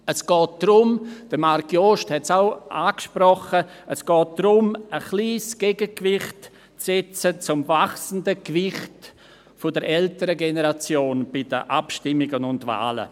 Es geht darum – Marc Jost hat es auch angesprochen –, ein kleines Gegengewicht zu setzen zum wachsenden Gewicht der älteren Generation bei den Abstimmungen und Wahlen.